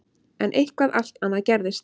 En eitthvað allt annað gerðist.